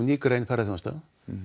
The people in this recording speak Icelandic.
ný grein ferðaþjónustu